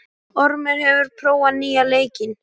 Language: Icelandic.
Ormur, hefur þú prófað nýja leikinn?